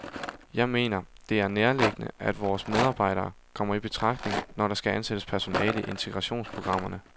Jeg mener, det er nærliggende, at vores medarbejdere kommer i betragtning, når der skal ansættes personale i integrationsprogrammerne.